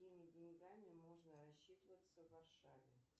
какими деньгами можно рассчитываться в варшаве